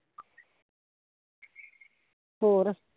ਹੋਰ